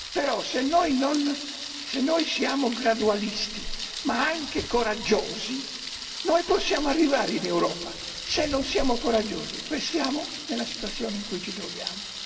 Però, se noi siamo gradualisti ma anche coraggiosi, noi possiamo arrivare in Europa, ma se non siamo coraggiosi restiamo nella situazione in cui ci troviamo.